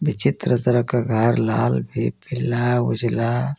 पीछे तरफ तरह का घर लाल एक पीला उजाला--